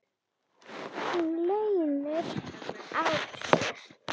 Hún leynir á sér.